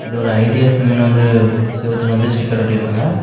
இது ஒரு ஐடியா சிம்னு வந்து செவுத்துல வந்து ஸ்டிக்கர் ஒட்டிருக்காங்க.